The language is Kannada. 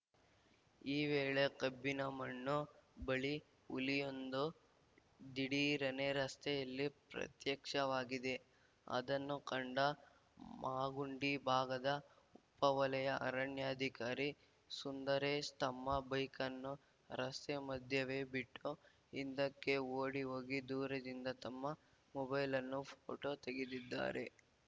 ಈ ವೇಳೆ ಕಬ್ಬಿನಮಣ್ಣು ಬಳಿ ಹುಲಿಯೊಂದು ದಿಢೀರನೆ ರಸ್ತೆಯಲ್ಲಿ ಪ್ರತ್ಯಕ್ಷವಾಗಿದೆ ಅದನ್ನು ಕಂಡ ಮಾಗುಂಡಿ ಭಾಗದ ಉಪ ವಲಯ ಅರಣ್ಯಾಧಿಕಾರಿ ಸುಂದರೇಶ್‌ ತಮ್ಮ ಬೈಕನ್ನು ರಸ್ತೆ ಮಧ್ಯವೇ ಬಿಟ್ಟು ಹಿಂದೆಕ್ಕೆ ಓಡಿಹೋಗಿ ದೂರದಿಂದ ತಮ್ಮ ಮೊಬೈಲ್ಲನ್ನು ಫೋಟೋ ತೆಗೆದಿದ್ದಾರೆ